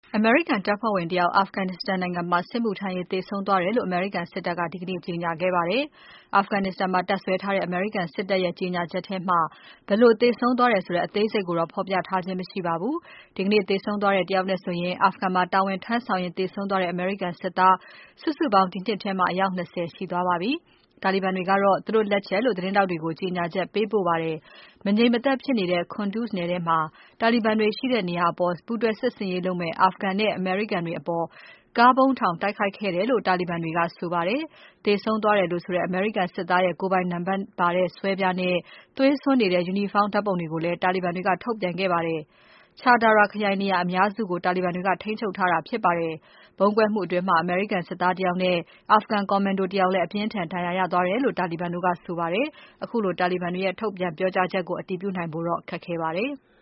အမေရိကန်တပ်ဖွဲ့ဝင် တယောက် Afghanistan နိုင်ငံမှာ စစ်မှုထမ်းရင်း သေဆုံးသွားတယ်လို့ အမေရိကန်စစ်တပ်က ဒီကနေ့ ကြေညာခဲ့ပါတယ်။ Afghanistan မှာတပ်စွဲထားတဲ့ အမေရိကန်စစ်တပ်ရဲ့ ကြေညာချက်မှာ ဘယ်လိုသေဆုံးသွားတဲ့ အသေးစိတ်ကိုတော့ ဖော်ပြထားခြင်း မရှိပါဘူး။ ဒီကနေ့ သေဆုံးသွားတဲ့ တယောက်နဲ့ဆိုရင် Afghanistan မှာတာဝန်ထမ်းဆောင်ရင်း သေဆုံးသွားတဲ့ အမေရိကန် စစ်သား စုစုပေါင်း ဒီနှစ်ထဲမှာ အယောက် ၂၀ ရှိသွားပါပြီ။ တာလီဘန်တွေကတော့ သူတို့ လက်ချက်လို့ သတင်းထောက်တွေကို ကြေညာချက် ပေးပို့ခဲ့ပါတယ်။ မငြိမ်မသက်ဖြစ်နေတဲ့ Kunduz ထဲက တာလီဘန်တွေရှိတဲ့နေရာကို ပူးတွဲစစ်ဆင်ရေးလုပ်မယ့် Afghan နဲ့ အမေရိကန်တွေအပေါ် ကားဗုံးထောင် တိုက်ခိုက်ခဲ့တယ်လို့ တာလီဘန်တွေက ဆိုပါတယ်။ သေဆုံးသွားတယ်လို့ဆိုတဲ့ အမေရိကန် စစ်သားရဲ့ ကိုယ်ပိုင်နံပါတ်ပါတဲ့ ဆွဲပြားနဲ့ သွေးစွန်းနေတဲ့ ယူနီဖောင်းဓါတ်ပုံတွေကိုလည်း တာလီဘန်တွေက ထုတ်ပြန်ခဲ့ပါတယ်။ Char Dara ခရိုင်နေရာအများစုကို တာလီဘန်တွေက ထိန်းချုပ်ထားတာဖြစ်ပါတယ်။ ဗုံးကွဲမှုအတွင်း အမေရိကန်စစ်သား တယောက်နဲ့ Afghan ကော်မန်ဒို တယောက်လည်း အပြင်းအထန် ဒဏ်ရာရသွားတယ်လို့ တာလီဘန်တို့ကဆိုပါတယ်။ ခုလိုတာလီဘန်တွေရဲ့ ထုတ်ပြန် ပြောကြားချက်ကို အတည်ပြုနိုင်ဖို့တော့ ခက်ခဲပါတယ်။